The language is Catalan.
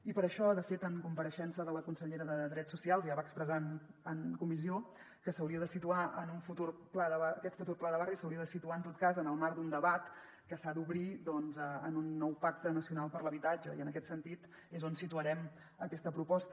i per això de fet en compareixença la consellera de drets socials ja va expressar en comissió que aquest futur pla de barris s’hauria de situar en tot cas en el marc d’un debat que s’ha d’obrir en un nou pacte nacional per a l’habitatge i en aquest sentit és on situarem aquesta proposta